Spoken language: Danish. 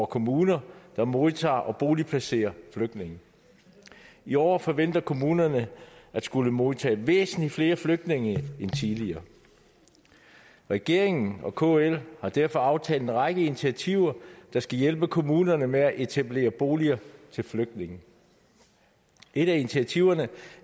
kommuner der modtager og boligplacerer flygtninge i år forventer kommunerne at skulle modtage væsentlig flere flygtninge end tidligere regeringen og kl har derfor aftalt en række initiativer der skal hjælpe kommunerne med at etablere boliger til flygtninge et af initiativerne